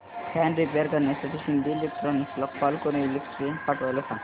fan repair करण्यासाठी शिंदे इलेक्ट्रॉनिक्सला call करून इलेक्ट्रिशियन पाठवायला सांग